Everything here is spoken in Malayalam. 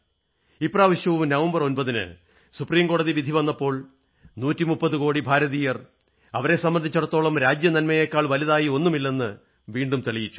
ഇപ്രാവശ്യവും നവംബർ 9ന് സുപ്രീം കോടതിയുടെ വിധി വന്നപ്പോൾ 130 കോടി ഭാരതീയർ അവരെ സംബന്ധിച്ചിടത്തോളം രാജ്യനന്മയെക്കാൾ വലുതായി ഒന്നുമില്ലെന്ന് വീണ്ടും തെളിയിച്ചു